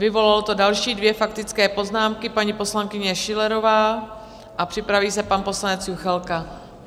Vyvolalo to další dvě faktické poznámky, paní poslankyně Schillerová a připraví se pan poslanec Juchelka.